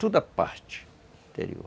Toda a parte interior.